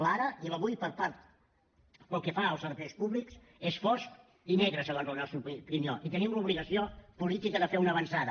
l’ara i l’avui pel que fa als serveis públics és fosc i negre segons la nostra opinió i tenim l’obligació política de fer una avançada